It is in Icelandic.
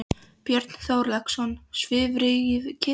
Björn Þorláksson: Svifrykið?